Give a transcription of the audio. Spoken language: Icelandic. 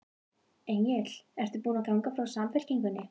Egill: Ertu búin að ganga úr Samfylkingunni?